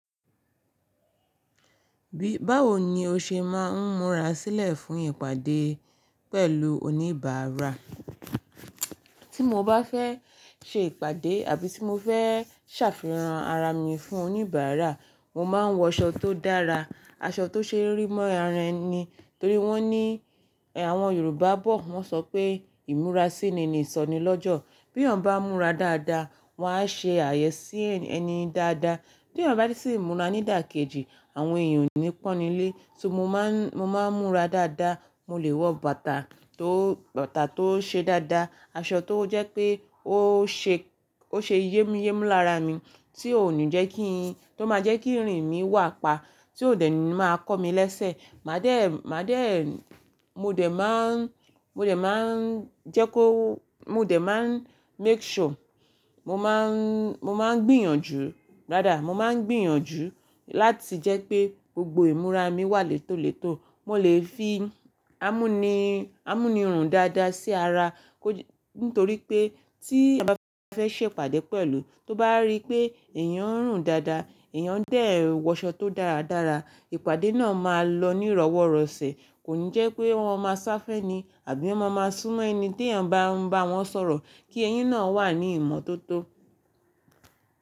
Bí, báwo ni o ṣe máa ń múra sílẹ̀ fún ìpàdé pẹ̀lú oníbàárà? Tí mo bá fẹ́ ṣe ìpàdé àbí tí mo fẹ́ ṣàfihàn ara mi fún oníbàárà, mo máa ń wọ aṣọ tó dára, aṣọ tó ṣe rí mọ́ ara ẹni. Torí wọ́n ní àwọn Yorùbá bọ̀, wọ́n sọ pé ìmúra sí ni, ni ìsọnilọ́jọ̀. Bí ènìyàn bá múra dáadáa, wọn á ṣe àyẹ́sí ẹni yẹn dáadáa. Bí ènìyàn bá ti múra nídàkejì, àwọn èèyàn ò ní pọ́n ni lé. Mo máa ń, mo máa ń múra dáadáa, mo lè wọ bàtà tó, bàtà tó ṣe dáadáa, aṣọ tó jẹ́ pé ó ṣe, ó ṣe yémúyémú lára mi, tí ò ní jẹ́ kí, tó máa jẹ́ kí irin mi wà pa, tí ò dẹ́nu máa kọ́ mi lẹ́sẹ̀. Màá dé, màá dé, mo dé máa ń, mo dé máa ń jẹ́ kó, mo dé máa ń make sure, mo máa ń, mo máa ń gbìyànjú dáadáa. Mo máa ń gbìyànjú láti jẹ́ pé gbogbo ìmúra mi wà létólètó. Mo lè fi ámúnirùn dáadáa sí ara, kó, nítorí pé tí èèyàn bá fẹ́ ṣe ìpàdé pẹ̀lú, tó bá rí pé èèyàn ń rùn dáadáa, èèyàn dẹ́ ń wọ aṣọ tó dáradára, ìpàdé náà máa lọ ní ìrọ́wọ́rọ̀sẹ̀. Kò ní jẹ́ pé wọ́n máa sáfẹ́ni àbí wọ́n máa súnmọ́ eyin tí èèyàn bá ń bá wọn sọ̀rọ̀ kí eyín náà wà ní ìmọ́tótó.